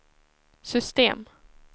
system